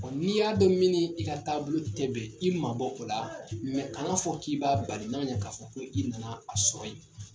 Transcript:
Ɔ n'i y'a dɔn min n'i ka taabolo tɛ bɛn , i ma bɔ o la, mɛ kana fɔ k'i b'a bali n'a ma ɲan k'a fɔ ko i nana a sɔrɔ yen !